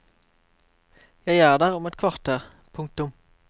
Jeg er der om et kvarter. punktum